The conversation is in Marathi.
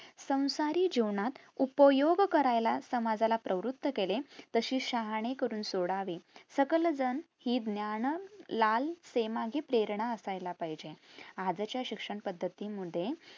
संसारी जीवनात उपयोग करायला समाजाला प्रवृत्त केले तशे शहाणे करून सोडावे सकलजन हि ज्ञान लाल मागे हि प्रेरणा असयला पाहिजे आजच्या शिक्षण पद्धती मध्ये